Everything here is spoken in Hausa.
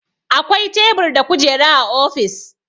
Akwai tebur da kujera a ofis